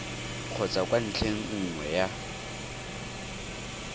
kgotsa kwa ntlheng nngwe ya